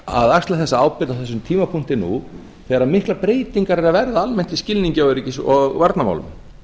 að axla þessa ábyrgð á þessum tímapunkti nú þegar miklar breytingar eru að verða almennt á skilningi á öryggis og varnarmálum